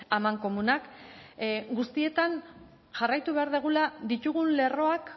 amankomunak guztietan jarraitu behar dugula ditugun lerroak